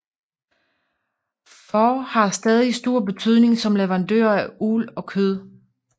Får har stadig stor betydning som leverandør af uld og kød